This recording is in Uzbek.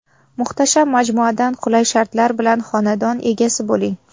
Muhtasham majmuadan qulay shartlar bilan xonadon egasi bo‘ling.